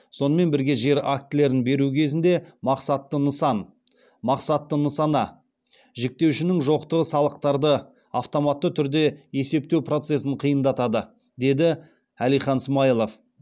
сонымен бірге жер актілерін беру кезінде мақсатты нысана жіктеуішінің жоқтығы салықтарды автоматты түрде есептеу процесін қиындатады деді әлихан смайылов